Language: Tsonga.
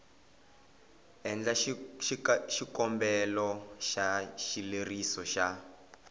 endla xikombelo xa xileriso xa